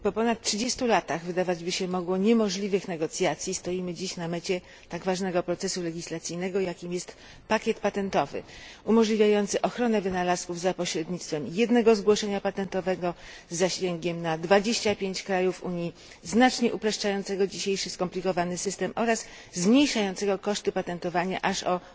Po ponad 30 latach wydawać by się mogło niemożliwych negocjacji stoimy dziś na mecie tak ważnego procesu legislacyjnego, jakim jest pakiet patentowy umożliwiający ochronę wynalazków za pośrednictwem jednego zgłoszenia patentowego z zasięgiem na 25 krajów Unii, znacznie uproszczającego dzisiejszy skomplikowany system oraz zmniejszającego koszty opatentowania aż o